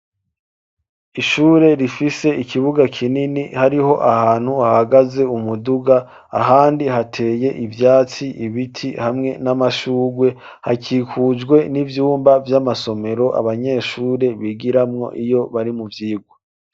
Ishure rifise ikibuga kinini hariho ahantu hahagaze umuduga ahandi hateye ivyatsi, ibiti hamwe n'amashugwe hakikujwe n'ivyumba vy'amasomero abanyeshure bigiramwo iyo bari mu vyigwa.